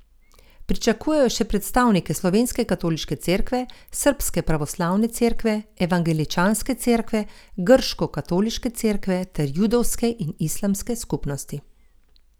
Pričakujejo še predstavnike slovenske katoliške cerkve, srbske pravoslavne cerkve, evangeličanske cerkve, grškokatoliške cerkve ter judovske in islamske skupnosti.